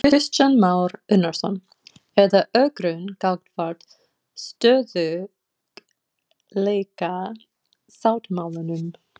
Kristján Már Unnarsson: Er það ögrun gagnvart stöðugleikasáttmálanum?